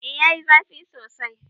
Eh yayi zafi sosai.